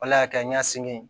Ala y'a kɛ n y'a sen kɛ